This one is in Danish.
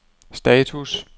status